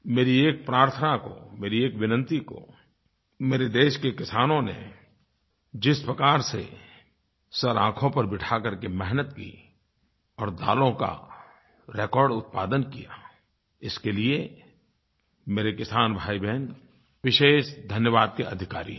मेरी एक प्रार्थना को मेरी एक विनती को मेरे देश के किसानों ने जिस प्रकार से सिरआँखों पर बिठा करके मेहनत की और दालों का रेकॉर्ड उत्पादन किया इसके लिये मेरे किसान भाईबहन विशेष धन्यवाद के अधिकारी हैं